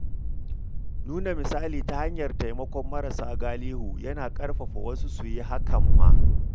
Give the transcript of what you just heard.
Nuna misali ta hanyar taimakon marasa galihu yana ƙarfafa wasu su yi hakan ma.